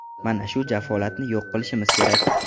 Mana shu jafolatni yo‘q qilishimiz kerak.